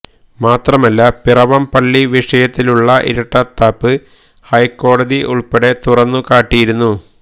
മാത്രമല്ല പിറവം പള്ളി വിഷയത്തിലുള്ള ഇരട്ടത്താപ്പ് ഹൈക്കോടതി ഉള്പ്പെടെ തുറന്നു കാട്ടിയിരുന്നു